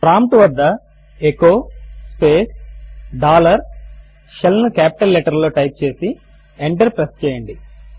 prompt వద్ద echo space dollar shell ను capital letter లలో టైప్ చేసి ఎంటర్ ప్రెస్ చేయండి